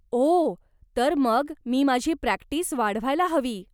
ओह, तर मग मी माझी प्रॅक्टीस वाढवायला हवी.